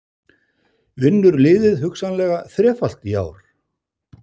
Vinnur liðið hugsanlega þrefalt í ár?